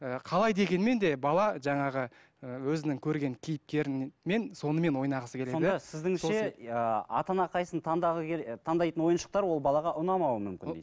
ы қалай дегенмен де бала жаңағы ыыы өзінің көрген кейіпкерімен сонымен ойнағысы келеді сонда сіздіңше ыыы ата ана қайсысын келе таңдайтын ойыншықтар ол балаға ұнамауы мүмкін